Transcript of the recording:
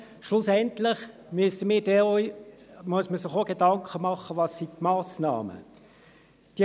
Schlussendlich muss man sich auch Gedanken darüber machen, welche Massnahmen es sind.